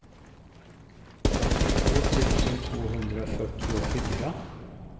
åttiotvå tusen tvåhundrafyrtiofyra